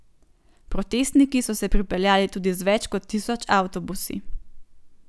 Protestniki so se pripeljali tudi z več kot tisoč avtobusi.